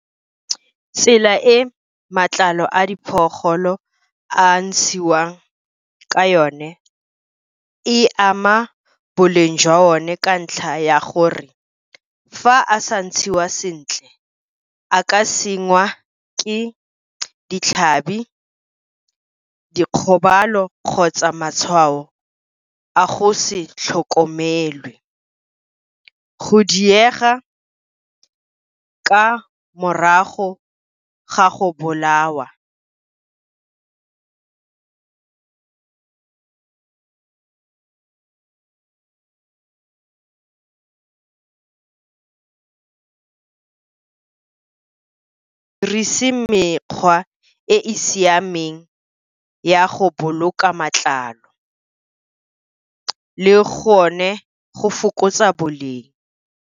Tsela e matlalo a a ntshiwang ka yone e ama boleng jwa o ne, ka ntlha ya gore fa a sa ntshiwa sentle, a ka sengwa ke ditlhabi, dikgobalo, kgotsa matshwao a go se tlhokomele. Go diega ka morago ga go bolawa mekgwa e e siameng ya go boloka matlalo le gone go fokotsa boleng.